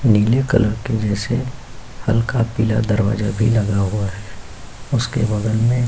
नीले कलर के जैसे हल्का पीला दरवाज़ा भी लगा हुआ है। उसके बगल में --